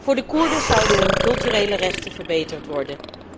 Voor de Koerden zouden hun culturele rechten verbeterd worden.